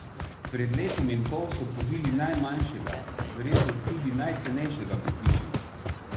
Pred letom in pol so povili najmanjšega, verjetno tudi najcenejšega pri hiši.